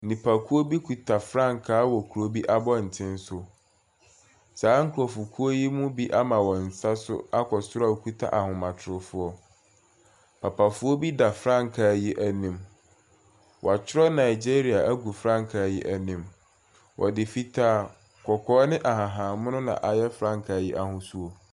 Nipakuo bi kita frankaa wɔ kuro bi abɔntene so. Saa nkurɔfokuo yi mu bi ama wɔn nsa so akɔ soro a wɔkita ahomatorofoɔ. Papafoɔ bi da frankaa yi anim. Wɔatwerɛ Nigeria agu frankaa yi anim. Wɔde fitaa kɔkɔɔ ne ahahammono na ayɛ frankaa yi ahosuo.